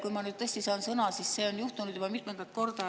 Kui ma nüüd tõesti saan sõna, siis see on juhtunud juba mitmendat korda.